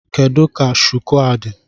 Kedu ka shuku a dị?